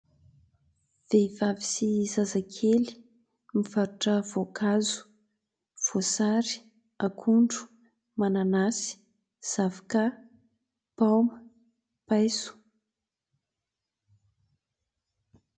Vehivavy sy zazakely mivarotra voankazo. : voasary, akondro, mananasy, zavokà, paoma, paiso.